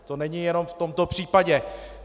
To není jenom v tomto případě.